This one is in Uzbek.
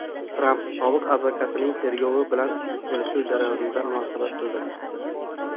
Tramp sobiq advokatining tergov bilan kelishuv jarayoniga munosabat bildirdi.